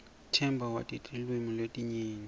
themba wati tilwimi letinyenti